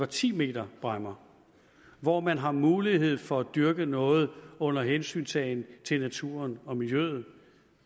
ti meters bræmmer hvor man har mulighed for at dyrke noget under hensyntagen til naturen og miljøet